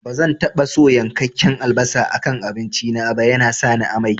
Bazan taɓa so yankakken albasa a kan abinci na ba, yana sani amai